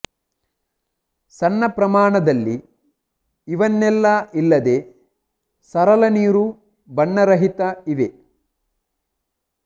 ಸಣ್ಣ ಪ್ರಮಾಣದಲ್ಲಿ ಇವನ್ನೆಲ್ಲಾ ಇಲ್ಲದೆ ಸರಳ ನೀರು ಬಣ್ಣರಹಿತ ಇವೆ